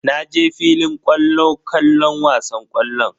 Na je filin kwallo kallon wasan ƙwallon.